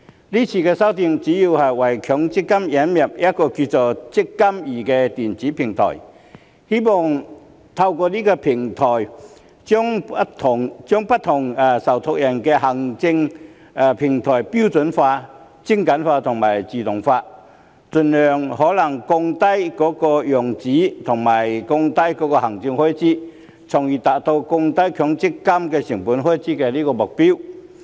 今次修訂主要是為強制性公積金引入一個名為"積金易"的電子平台，希望透過這個平台將不同受託人的行政平台標準化、精簡化和自動化，盡可能減少用紙及降低行政開支，從而達至降低強積金開支的目標。